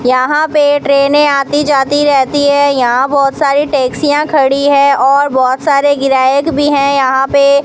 यहां पे ट्रेने आती जाती रहती है यहां बहुत सारी टैक्सियां खड़ी है और बहुत सारे ग्राहक भी हैं यहां पे।